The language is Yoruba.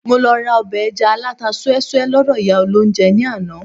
Mo lọ ra ọbẹ̀ ẹja alata súẹ́súẹ́ lọ́dọ̀ ìyá olóunjẹ ní àná